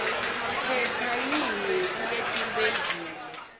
khetsa yinye kuletimphendvulo